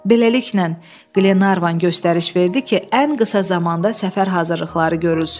Beləliklə, Glenarvan göstəriş verdi ki, ən qısa zamanda səfər hazırlıqları görülsün.